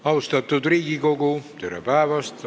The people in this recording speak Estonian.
Austatud Riigikogu, tere päevast!